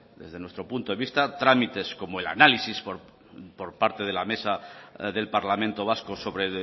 desde nuestro punto de vista trámites como el análisis por parte de la mesa del parlamento vasco sobre